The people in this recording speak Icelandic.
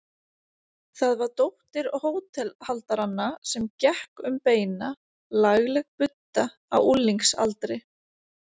Það var dóttir hótelhaldaranna sem gekk um beina, lagleg budda á unglingsaldri.